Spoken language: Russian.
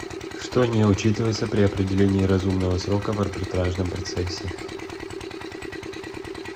что не учитывается при определении разумного срока в арбитражном процессе